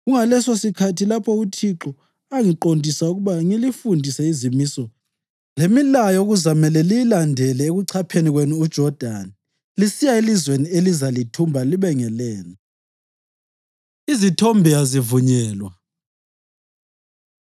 Kungalesosikhathi lapho uThixo angiqondisa ukuba ngilifundise izimiso lemilayo okuzamele liyilandele ekuchapheni kwenu uJodani lisiya elizweni elizalithumba libe ngelenu.” Izithombe Azivunyelwa